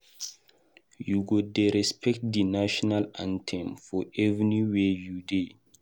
You go dey respect di national anthem for anywhere you dey.